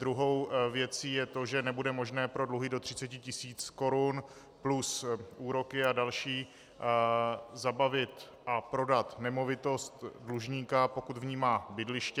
Druhou věcí je to, že nebude možné pro dluhy do 30 tisíc korun plus úroky a další zabavit a prodat nemovitost dlužníka, pokud v ní má bydliště.